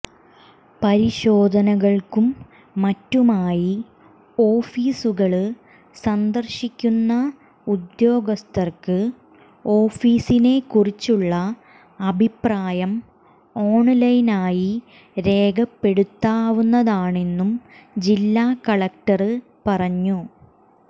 പരിശോധനകള്ക്കും മറ്റുമായി ഓഫീസുകള് സന്ദര്ശിക്കുന്ന ഉദ്യോഗസ്ഥര്ക്ക് ഓഫീസിനെ കുറിച്ചുള്ള അഭിപ്രായം ഓണ്ലൈനായി രേഖപ്പെടുത്താവുന്നതാണെന്നും ജില്ലാ കലക്ടര് പറഞ്ഞു